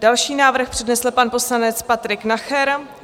Další návrh přednesl pan poslanec Patrik Nacher.